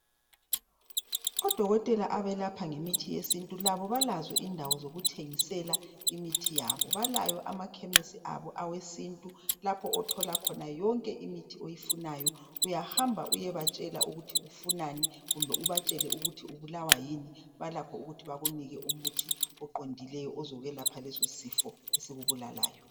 Odokotela abelapha ngemithi yesintu, labo balazo indawo zokuthengisela imithi yabo. Balawo amakhemisi abo awesintu. Lapho othola khona yonke imithi oyifunayo. Uyahamba uyebatshela ukuthi ufunani. Kumbe ubatshele ukuthi ubulawa yini. Balakho ukuthi bakuphe umuthi oqondileyo. Ozakwelapha lesosifo esikubulalayo.